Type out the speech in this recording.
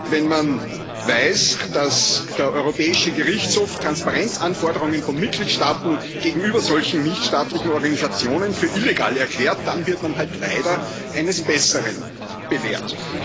wenn man weiß, dass der Europäische Gerichtshof Transparenzanforderungen von Mitgliedstaaten gegenüber solchen nichtstaatlichen Organisationen für illegal erklärt, dann wird man halt leider eines Besseren belehrt.